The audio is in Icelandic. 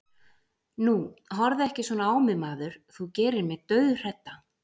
Nú, horfðu ekki svona á mig maður, þú gerir mig dauðhrædda.